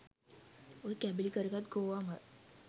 ඔය කැබලි කරගත් ගෝවා මල්